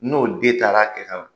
N'o den taar'a kɛ ka na